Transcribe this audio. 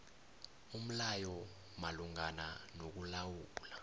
umlayo malungana nokulawula